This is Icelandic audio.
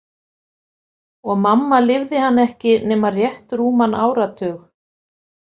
Og mamma lifði hann ekki nema rétt rúman áratug.